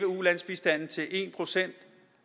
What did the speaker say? ulandsbistanden til en procent